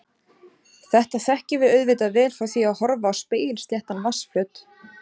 Þetta þekkjum við auðvitað vel frá því að horfa á spegilsléttan vatnsflöt.